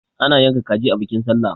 ana yanka kaji a bikin sallah